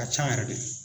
Ka ca yɛrɛ de